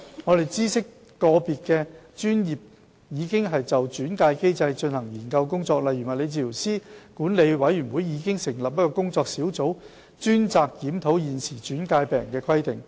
我們知悉個別專業已就轉介機制進行研究工作，例如物理治療師管理委員會已成立工作小組，專責檢討現時轉介病人的規定。